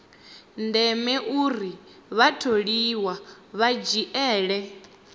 ndeme uri vhatholiwa vha dzhiele